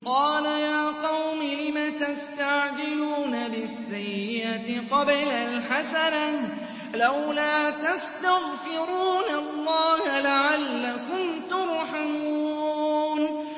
قَالَ يَا قَوْمِ لِمَ تَسْتَعْجِلُونَ بِالسَّيِّئَةِ قَبْلَ الْحَسَنَةِ ۖ لَوْلَا تَسْتَغْفِرُونَ اللَّهَ لَعَلَّكُمْ تُرْحَمُونَ